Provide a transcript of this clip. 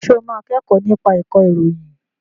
Ṣé o máa kẹ́kọ̀ọ́ nípa ìkọ̀ròyìn?